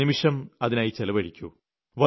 ഒരു നിമിഷം അതിനായി ചെലവഴിക്കൂ